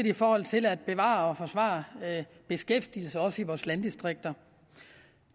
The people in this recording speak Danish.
i forhold til at bevare og forsvare beskæftigelsen også i vores landdistrikter